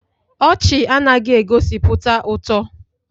Ọchị anaghị egosipụta ụtọ